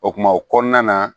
O kuma o kɔnɔna na